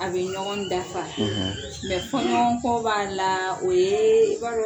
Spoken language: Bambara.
A bɛ ɲɔgɔn dafa mɛ fɔɲɔgɔnko b'a la o yee